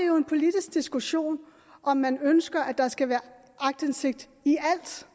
jo en politisk diskussion om man ønsker at der skal være aktindsigt i alt